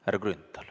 Härra Grünthal.